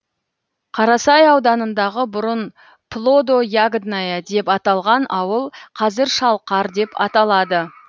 қарасай ауданындағы бұрын плодо ягодная деп аталған ауыл қазір шалқар деп аталады